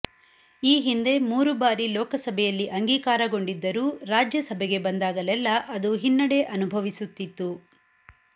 ಈ ಹಿಂದೆ ಮೂರು ಬಾರಿ ಲೋಕಸಭೆಯಲ್ಲಿ ಅಂಗೀಕಾರಗೊಂಡಿದ್ದರೂ ರಾಜ್ಯಸಭೆಗೆ ಬಂದಾಗಲೆಲ್ಲ ಅದು ಹಿನ್ನಡೆ ಅನುಭವಿಸುತ್ತಿತ್ತು